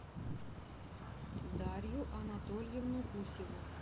дарью анатольевну гусеву